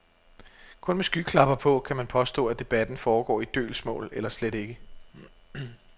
Kun med skyklapper på kan man påstå, at debatten foregår i dølgsmål eller slet ikke.